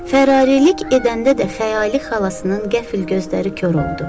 Fərarilik edəndə də xəyali xalasının qəfil gözləri kor oldu.